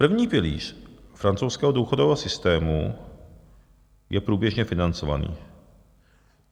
První pilíř francouzského důchodového systému je průběžně financovaný.